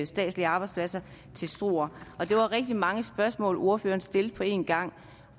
statslige arbejdspladser til struer det var rigtig mange spørgsmål ordføreren stillede på en gang